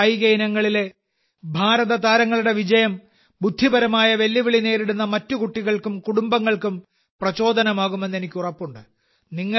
ഈ കായിക ഇനങ്ങളിലെ ഭാരതതാരങ്ങളുടെ വിജയം ബുദ്ധിപരമായ വെല്ലുവിളി നേരിടുന്ന മറ്റ് കുട്ടികൾക്കും കുടുംബങ്ങൾക്കും പ്രചോദനമാകുമെന്ന് എനിക്ക് ഉറപ്പുണ്ട്